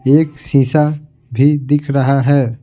एक शीशा भी दिख रहा है।